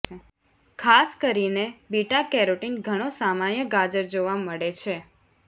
ખાસ કરીને beta carotene ઘણો સામાન્ય ગાજર જોવા મળે છે